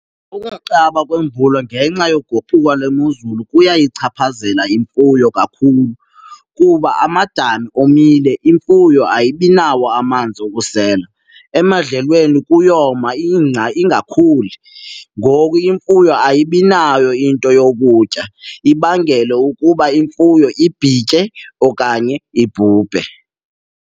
Kukunqaba kweemvula ngenxa yokuguquka kwemozulu kuyayichaphazela imfuyo kakhulu kuba amadami omile, imfuyo ayibinawo amanzi wokusela. Emandlweni kuyoma ingca ingakhuli, ngoku imfuyo ayibinayo into yokutya ibangele ukuba imfuyo ibhitye okanye ibhubhe.